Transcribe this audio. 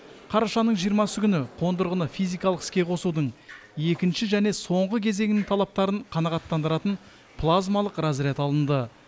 қарашаның жиырмасы күні қондырғыны физикалық іске қосудың екінші және соңғы кезеңінің талаптарын қанағаттандыратын плазмалық разряд алынды